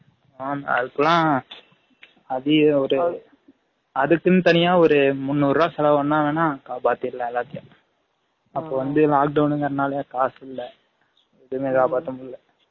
ஆம அதுக்குலா அதிக ஒரு அதுக்குனு தனியா ஒரு முனூரு ரூவா செலவு பன்னா வேனா காபாதிர்லாம் எல்லாதையும் அப்ப வந்து lock down ங்க்ர நால காசு இல்ல எதுமே காபாத முடியல